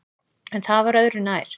En það var öðru nær!